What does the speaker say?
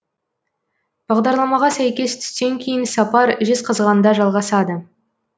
бағдарламаға сәйкес түстен кейін сапар жезқазғанда жалғасады